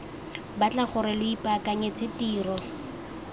batla gore lo ipaakanyetse tiro